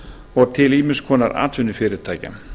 og til ýmiss konar atvinnufyrirtækja